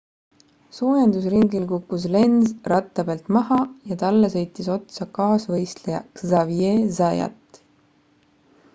soojendusringil kukkus lenz ratta pealt maha ja talle sõitis otsa kaasvõistleja xavier zayat